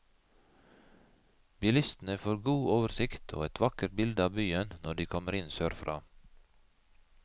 Bilistene får god oversikt og et vakkert bilde av byen når de kommer inn sørfra.